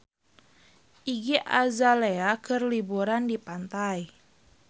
Iggy Azalea keur liburan di pantai